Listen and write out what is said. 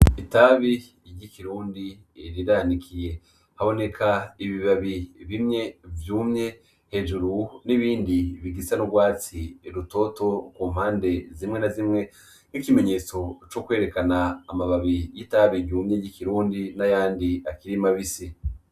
Itabi ry’ Ikirundi riranikiye, haboneka ibibabi bimwe vyumye hejuru n' ibindi bigisa n' urwatsi rutoto kumpande zimwe na zimwe nkikimenyetso co kwerekana amababi yitabi ryumye ry’ Ikirundi nayandi akiri mabisi